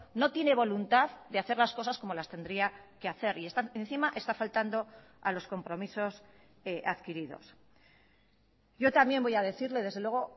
no tiene voluntad de hacer las cosas como las tendría que hacer y están encima está faltando a los compromisos adquiridos yo también voy a decirle desde luego